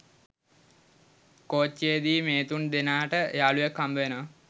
කෝච්චියේදී මේ තුන් දෙනාට යාළුවෙක් හම්බෙනවා.